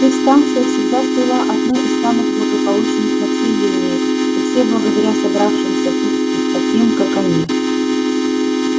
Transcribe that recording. их станция всегда слыла одной из самых благополучных на всей линии и все благодаря собравшимся тут и таким как они